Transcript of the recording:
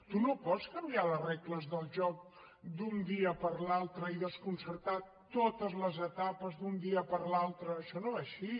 tu no pots canviar les regles del joc d’un dia per l’altre i desconcertar totes les etapes d’un dia per l’altre això no va així